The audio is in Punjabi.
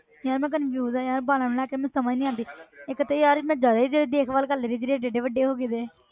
ਯਾਰ ਮੈਂ confuse ਹਾਂ ਯਾਰ ਵਾਲਾਂ ਨੂੰ ਲੈ ਕੇ ਮੈਨੂੰ ਸਮਝ ਨੀ ਆਉਂਦੀ ਇੱਕ ਤੇ ਯਾਰ ਮੈਂ ਜ਼ਿਆਦਾ ਹੀ ਦੇਖਭਾਲ ਕਰ ਲਈ ਜਿਹੜੇ ਇੱਡੇ ਇੱਡੇ ਵੱਡੇ ਹੋ ਗਏ ਦੇ।